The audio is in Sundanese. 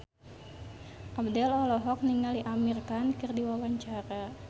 Abdel olohok ningali Amir Khan keur diwawancara